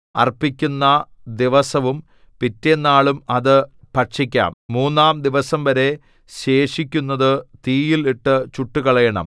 അർപ്പിക്കുന്ന ദിവസവും പിറ്റെന്നാളും അത് ഭക്ഷിക്കാം മൂന്നാം ദിവസംവരെ ശേഷിക്കുന്നതു തീയിൽ ഇട്ടു ചുട്ടുകളയണം